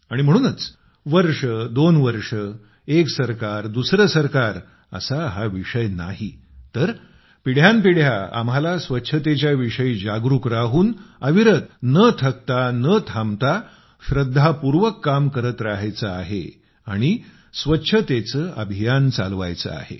आणि म्हणूनच वर्ष दोन वर्ष एक सरकार दुसरे सरकार असा हा विषय नाही तर पिढ्यान पिढ्या आम्हाला स्वच्छतेच्या विषयी जागरूक राहून अविरत न थकता न थांबता श्रद्धापूर्वक काम करत राहायचे आहे आणि स्वच्छतेचे अभियान चालवायचे आहे